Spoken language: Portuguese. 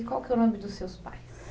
E qual que é o nome dos seus pais?